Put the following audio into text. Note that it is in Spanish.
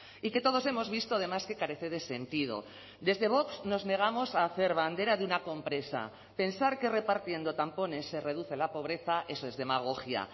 y que todos hemos visto además que carece de sentido desde vox nos negamos a hacer bandera de una compresa pensar que repartiendo tampones se reduce la pobreza eso es demagogia